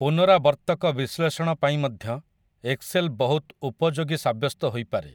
ପୁନରାବର୍ତ୍ତକ ବିଶ୍ଳେଷଣ ପାଇଁ ମଧ୍ୟ ଏକ୍ସେଲ୍ ବହୁତ ଉପଯୋଗୀ ସାବ୍ୟସ୍ତ ହୋଇପାରେ ।